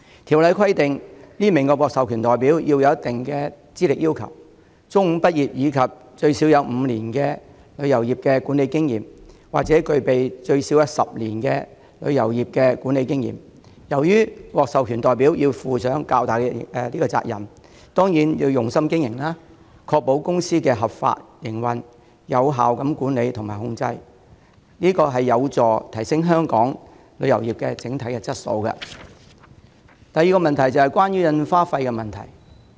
《條例草案》規定，每名獲授權代表須符合特定的資歷要求：中五畢業及具有最少5年的旅遊業管理經驗；或具有最少10年的旅遊業管理經驗。由於獲授權代表要負上較大責任，當然會用心經營，確保公司合法營運、有效管理及控制，這有助提升香港旅遊業的整體質素。第二，關於印花費問題。